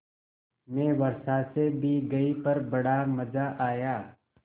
मैं वर्षा से भीग गई पर बड़ा मज़ा आया